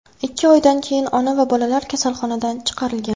Ikki oydan keyin ona va bolalar kasalxonadan chiqarilgan.